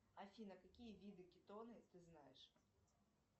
афина какие виды кетоны ты знаешь